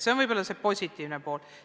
See on esimene positiivne asi.